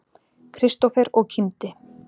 Kristófer og kímdi.